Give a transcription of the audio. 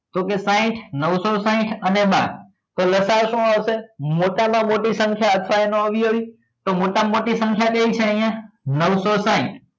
તો કે સાહીંઠ નવસો સાહીંઠ અને બાર તો લસા અ શું આવશે મોટા માં મોટી સંખ્યા અથવા એની અવયવી તો મોટા માં મોટી સંખ્યા કઈ છે અહિયાં નવસો સાહીંઠ